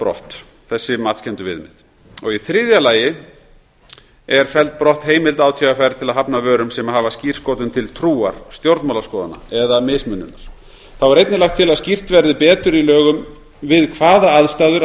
brott þessi matskenndu viðmið þriðja felld er brott heimild átvr til að hafna vörum sem hafa skírskotun til trúar stjórnmálaskoðana eða mismununar einnig er lagt til að skýrt verði betur í lögum við hvaða aðstæður